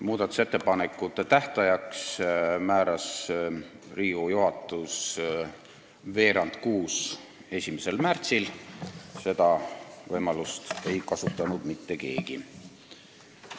Muudatusettepanekute tähtajaks määras Riigikogu juhatus 1. märtsil kell 17.15, aga seda võimalust ei kasutanud mitte keegi.